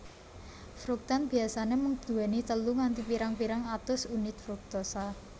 Fruktan biasane mung duweni telu nganti pirang pirang atus unit fruktosa